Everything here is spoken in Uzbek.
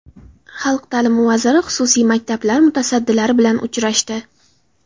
Xalq ta’limi vaziri xususiy maktablar mutasaddilari bilan uchrashdi.